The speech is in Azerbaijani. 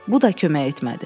Bu da kömək etmədi.